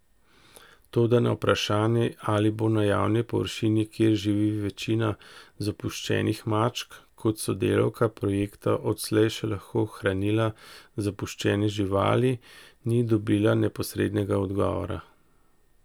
Toda na vprašanje, ali bo na javni površini, kjer živi večina zapuščenih mačk, kot sodelavka projekta odslej še lahko hranila zapuščene živali, ni dobila neposrednega odgovora.